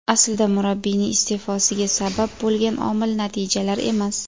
Aslida murabbiyning iste’fosiga sabab bo‘lgan omil natijalar emas.